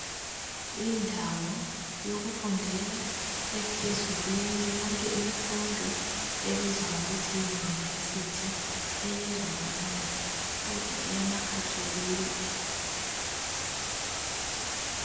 Indawo yokufundela ephezulu kwenye yonke imifundo ebizwa ngokuthi yi University eye Rwanda kodwa eyama khatholika.